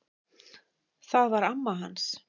Það var amma hans